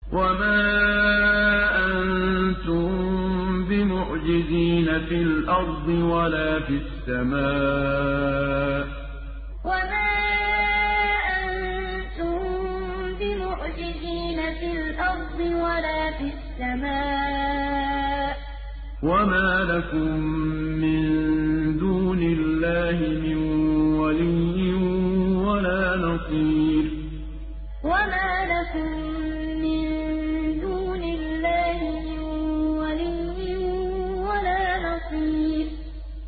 وَمَا أَنتُم بِمُعْجِزِينَ فِي الْأَرْضِ وَلَا فِي السَّمَاءِ ۖ وَمَا لَكُم مِّن دُونِ اللَّهِ مِن وَلِيٍّ وَلَا نَصِيرٍ وَمَا أَنتُم بِمُعْجِزِينَ فِي الْأَرْضِ وَلَا فِي السَّمَاءِ ۖ وَمَا لَكُم مِّن دُونِ اللَّهِ مِن وَلِيٍّ وَلَا نَصِيرٍ